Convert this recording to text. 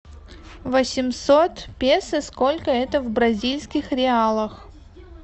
восемьсот песо сколько это в бразильских реалах